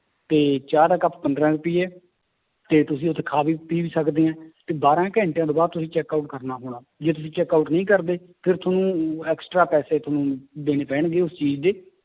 ਤੇ ਚਾਹ ਦਾ ਕੱਪ ਪੰਦਰਾਂ ਰੁਪਏ ਤੇ ਤੁਸੀਂ ਉੱਥੇ ਖਾ ਵੀ ਪੀ ਵੀ ਸਕਦੇ ਹੈ, ਤੇ ਬਾਰਾਂ ਘੰਟਿਆਂ ਤੋਂ ਬਾਅਦ ਤੁਸੀਂ checkout ਕਰਨਾ ਹੋਣਾ, ਜੇ ਤੁਸੀਂ checkout ਨਹੀਂ ਕਰਦੇ ਫਿਰ ਤੁਹਾਨੂੰ extra ਪੈਸੇ ਤੁਹਾਨੂੰ ਦੇਣੇ ਪੈਣਗੇ ਉਸ ਚੀਜ਼ ਦੇ